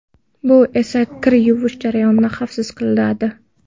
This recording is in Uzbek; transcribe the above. Bu esa kir yuvish jarayonini xavfsiz qiladi.